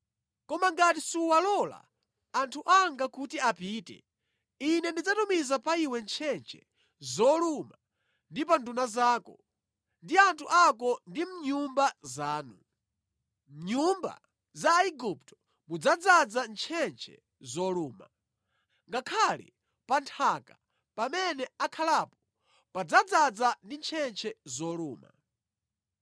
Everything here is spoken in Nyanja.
Koma ngati suwalola anthu anga kuti apite, Ine ndidzatumiza pa iwe ntchentche zoluma ndi pa nduna zako ndi anthu ako ndi mʼnyumba zanu. Mʼnyumba za Aigupto mudzadzaza ntchentche zoluma. Ngakhale pa nthaka pamene akhalapo padzadzaza ndi ntchentche zoluma.’ ”